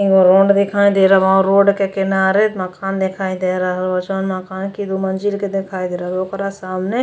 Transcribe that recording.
एगो रोड दिखाई दे रहल बा। रोड के किनारे एक मकान दिखाई दे रहल बा। जोन मकान के दो मंजिल के दिखाई दे रहल बा। ओकरा सामने --